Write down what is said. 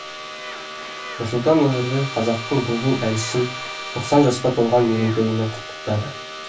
нұрсұлтан назарбаев қазақтың бұлбұл әншісін тоқсан жасқа толған мерейтойымен құттықтады